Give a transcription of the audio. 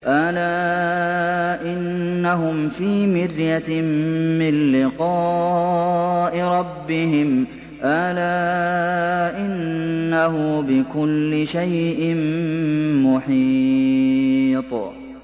أَلَا إِنَّهُمْ فِي مِرْيَةٍ مِّن لِّقَاءِ رَبِّهِمْ ۗ أَلَا إِنَّهُ بِكُلِّ شَيْءٍ مُّحِيطٌ